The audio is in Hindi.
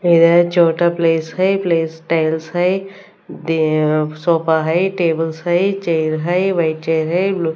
इधर छोटा प्लेस है प्लेस टाइल्स है दे अ सोफा है टेबल्स है चेयर है व्हाइट चेयर है ब्लू --